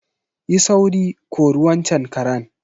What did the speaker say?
Yi sauri, kori waccan karen.